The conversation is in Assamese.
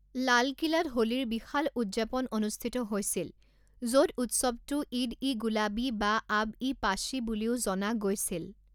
লাল কিলাত হোলীৰ বিশাল উদযাপন অনুষ্ঠিত হৈছিল য'ত উৎসৱটো ঈদ ই গুলাবি বা আব ই পাশ্বি বুলিও জনা গৈছিল।